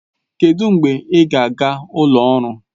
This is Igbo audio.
Kedụ mgbe ị ga-aga ụlọ ọrụ?